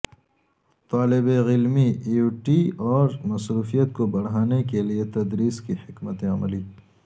طالب علمی ایوئٹی اور مصروفیت کو بڑھانے کے لئے تدریس کی حکمت عملی